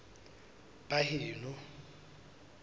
baheno